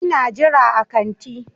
Ina jira a kanti.